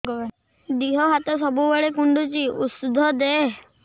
ଦିହ ହାତ ସବୁବେଳେ କୁଣ୍ଡୁଚି ଉଷ୍ଧ ଦେ